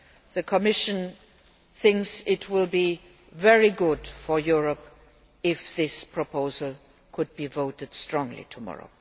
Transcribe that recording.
The Commission thinks it will be very good for Europe if this proposal could be voted strongly tomorrow.